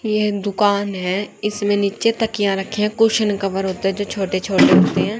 ये एक दुकान है इसमें नीचे तकिया रखे हैं कुशन कवर होते है जो छोटे छोटे होते है।